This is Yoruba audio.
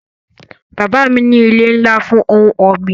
Bàbá mi ní ilé ńlá fún ohun ọ̀gbìn